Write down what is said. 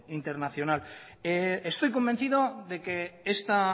internacional estoy convencido de que esta